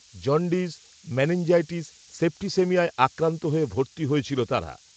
jaundice meningitis, সেপ্টিসিমিয়ায়, আক্রান্ত হয়ে, ভর্তি হয়েছিল তারা